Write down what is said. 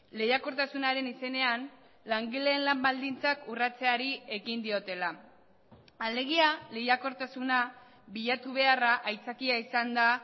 lehiakortasunaren izenean langileen lan baldintzak urratzeari ekin diotela alegia lehiakortasuna bilatu beharra aitzakia izan da